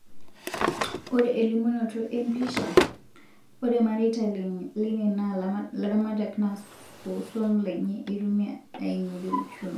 Ore elimunoto empisha, ore mareita lene naa laramatak naa oswam lenye eitumia aingorie uchumi.